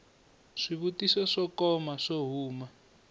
swivutiso swo koma swo huma